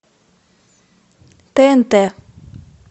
тнт